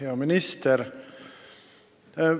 Hea minister!